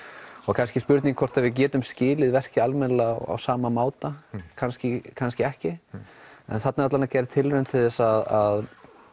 kannski spurning hvort við getum skilið verkið alveg almennilega á sama máta kannski kannski ekki en þarna er gerð tilraun til þess að